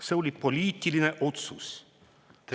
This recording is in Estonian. See oli poliitiline otsus.